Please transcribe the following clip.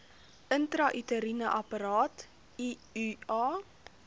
intrauteriene apparaat iua